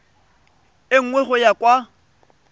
e nngwe go ya kwa